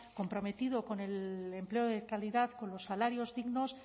comprometido con el empleo de calidad con los salarios dignos